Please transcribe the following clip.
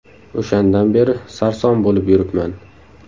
O‘shandan beri sarson bo‘lib yuribman”.